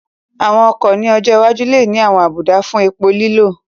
Àwọn ọkọ̀ ní ọjọ́ iwájú lè ní àwọn àbùdá fún epo lílò